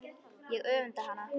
Ég öfunda hana.